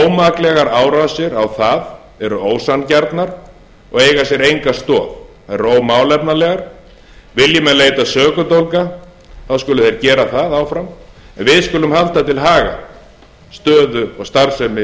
ómaklegar árásir á það eru ósanngjarnar og eiga sér enga stoð þær eru ómálefnalegar vilji menn leita sökudólga þá skulu þeir gera það áfram en við skulum halda til haga stöðu og starfsemi